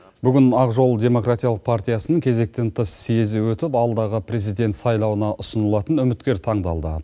бүгін ақжол демократиялық партиясының кезектен тыс съезі өтіп алдағы президент сайлауына ұсынылатын үміткер таңдалды